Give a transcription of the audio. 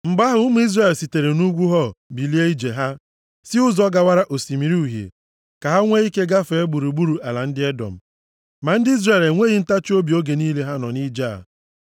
Mgbe ahụ, ụmụ Izrel sitere nʼugwu Hor bilie ije ha, si ụzọ gawara Osimiri Uhie, ka ha nwee ike gaa gburugburu ala ndị Edọm. Ma ndị Izrel enweghị ntachiobi oge niile ha nọ nʼije a.